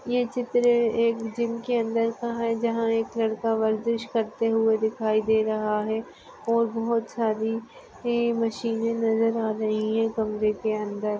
ये चित्र एक जिम के अंदर का है। जहा एक लडका वर्जीश करते हुये दिखाई दे रहा है और बहुत सारी मशिने नजर आ रही है कमरे के अंदर।